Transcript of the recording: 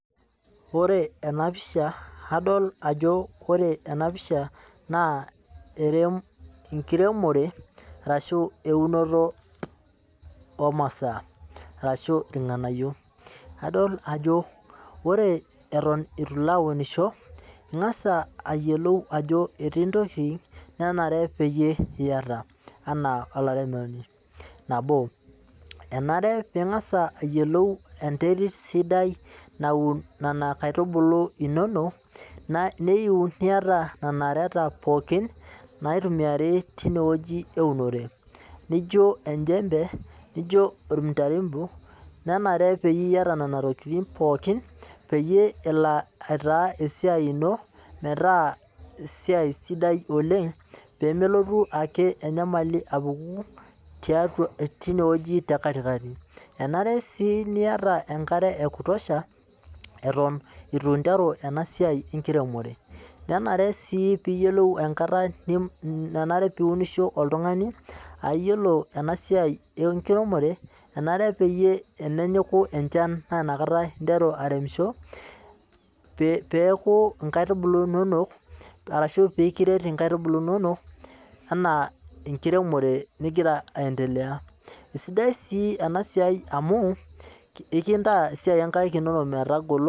Ore ena pisha adol ajo ore ena pisha naa enkiremore orashu eunore oomasaa orashu irganayio ,adol jo ore eitu ilo aunisho ingas ayiolou ajo etii ntokiting nenare epeyie iyata enaa olaretoni ,nabo enare pee iyiolou enterit sidai naun ena kaitubulu inonok neyieu niyata enareta inonok pookin naitumiyai tineweji eunore ,naijo olchempe naijo oltiarimbo ,nenare niyata nena tokiting pookin peyie elo aitaasa esiai ino metaa esiai sidai oleng pee melotu eke enyamali apuku tineweji tekatikati ,enare sii niyata enkare ekutosha eton eitu interu ena siai enkiremore ,nenare sii niyiolou enkata nenare pee iunisho oltungani ,ayiolo ena siai enkiremore enare naa pee enenyiku enchan naa inakata interu airemisho pee kiret einkaitubulu inonok enaa enkiremore ningira aendelea ,keisidai sii ena siai amu kitaa esiai oonkaek inonok metagolo.